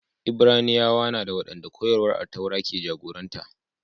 Ibraniyawa na dā, waɗanda koyarwar Attaura ke jagoranta